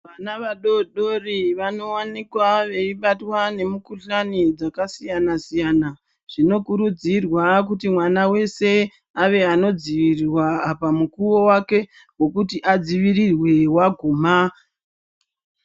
Vana vadodori vanowanikwa vaibatwa nemukuhlani dzakasiyana siyana zvinokurudzirwa kuti mwana wese ave anodzivirirwa mukuwo wake wekuti adzivirirwe waguma.